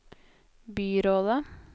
byrådet